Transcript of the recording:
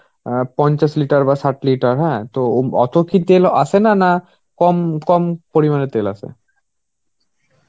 অ্যাঁ পঞ্চাশ litre বা ষাট litre. হ্যাঁ. তো অত কি তেলও আসে না, না কম কম পরিমানে তেল আসে?